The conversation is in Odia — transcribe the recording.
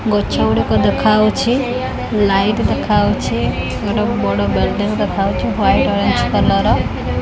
ଗଛ ଗୁଡିକ ଦେଖାହଉଛି ଲାଇଟ୍ ଦେଖାହଉଛି ଗୋଟେ ବଡ ବିଲଡିଂ ଦେଖାହଉଛି ୱାଇଟ ଅରେଞ୍ଚ କଲର୍ ର।